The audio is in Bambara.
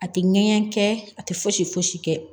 A tɛ ŋɛɲɛ kɛ a tɛ fosi fosi kɛ